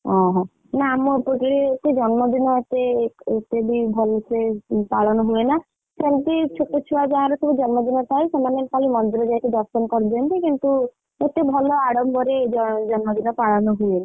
ଓହୋ ନା ଆମର ଏପଟରେ ଏତେ ଜନ୍ମଦିନ ଏତେ ଏତେ ବି ଭଲସେ ପାଳନ ହୁଏନା, ସେମିତି ଛୋଟ ଛୁଆ ଯାହାର ସବୁ ଜନ୍ମଦିନ ଥାଏ ସେମାନେ ଖାଲି ମନ୍ଦିର ଯାଇକି ଦର୍ଶନ କରିଦିଅନ୍ତି କିନ୍ତୁ ଏତେ ଭଲ ଆଡମ୍ବରେ ଜ ଜନ୍ମଦିନ ପାଳନ ହୁଏନି।